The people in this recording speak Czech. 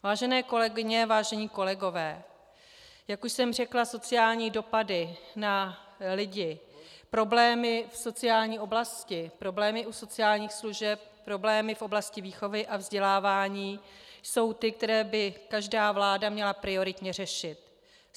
Vážené kolegyně, vážení kolegové, jak už jsem řekla, sociální dopady na lidi, problémy v sociální oblasti, problémy u sociálních služeb, problémy v oblasti výchovy a vzdělávání jsou ty, které by každá vláda měla prioritně řešit.